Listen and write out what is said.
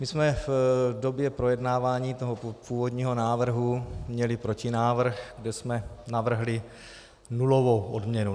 My jsme v době projednávání toho původního návrhu měli protinávrh, kde jsme navrhli nulovou odměnu.